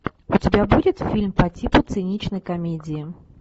у тебя будет фильм по типу циничной комедии